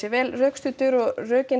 vel rökstuddan og rökin